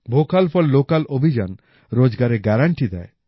vocal for local অভিযান রোজগারের guarantee দেয়